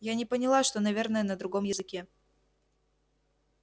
я не поняла что наверное на другом языке